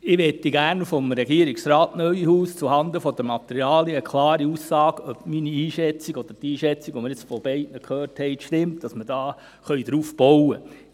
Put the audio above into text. Ich möchte gerne von Regierungsrat Neuhaus zuhanden der Materialien eine klare Aussage darüber, ob meine Einschätzung oder die Einschätzung, die wir von beiden gehört haben, stimmt, dass wir darauf bauen können.